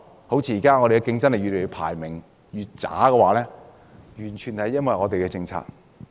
香港競爭力排名越來越低，完全是因為我們的政策。